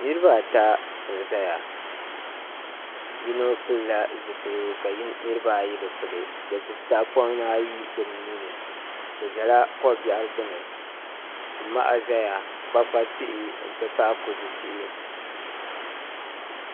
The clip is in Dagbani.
Niraba ata n ʒɛya yino pilila zipiligu ka niraba ayi bi pili bi gbubi tahapona ayi bi nuuni bi ʒɛla ko biɛɣu gbuni ti maha ʒɛya kpakpa tihi n ti pahi kodu tihi